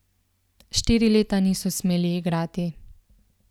Štiri leta niso smeli igrati.